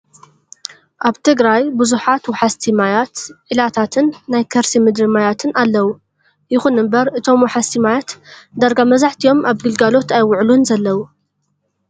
ኣብ ትግራይ ብዙሓት ወሓዝቲ ማያት፣ ኢላታትን ናይ ከርሲ ምድሪ ማያትን ኣለው። ይኹን እምበር እቶም ወሓዝቲ ማያት ዳርጋ መብዛሕቲኦም ኣብ ግልጋሎት ኣይወዓሉን ዘለው።